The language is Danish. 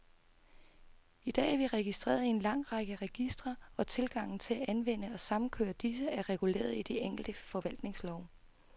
I dag er vi registreret i en lang række registre, og tilgangen til at anvende og samkøre disse, er reguleret i de enkelte forvaltningslove.